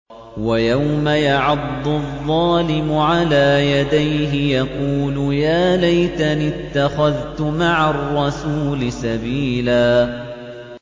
وَيَوْمَ يَعَضُّ الظَّالِمُ عَلَىٰ يَدَيْهِ يَقُولُ يَا لَيْتَنِي اتَّخَذْتُ مَعَ الرَّسُولِ سَبِيلًا